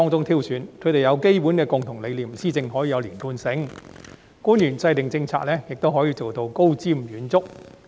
他們抱持基本的共同理念，施政可以有連貫性，官員制訂政策時亦可以高瞻遠矚。